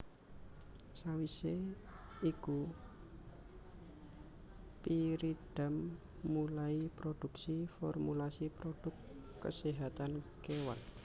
Sawisé iku Pyridam mulai produksi formulasi produk keséhatan kewan